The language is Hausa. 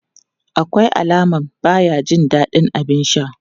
Akwai alaman baya jin dadin abin sha.